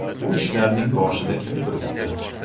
Bu ishlarning boshida kim turibdi?